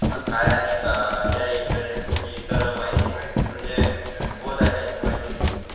काय आणि अं या इंटरनेट ची माहिती इतर माहिती म्हणजे बोथ आहे ना